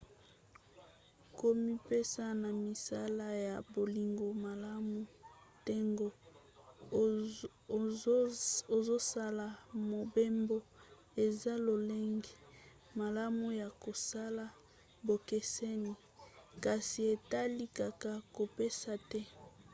komipesa na misala ya bolingo malamu ntango ozosala mobembo eza lolenge malamu ya kosala bokeseni kasi etali kaka kopesa te